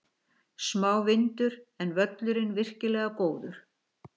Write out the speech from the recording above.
Smá vindur, en völlurinn virkilega góður.